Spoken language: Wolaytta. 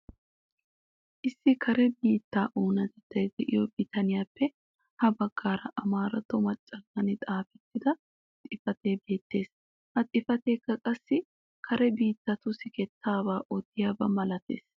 Issi kare biittaa oonatettay de'iyoo bitaniyaape ha baggaara amaaratto machchallan xaafettida xifatee beettees. ha xifateekka qassi kare biittatu siketaabaa odiyaaba malatees.